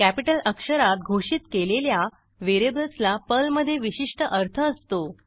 capital अक्षरात घोषित केलेल्या व्हेरिएबल्सला पर्लमधे विशिष्ट अर्थ असतो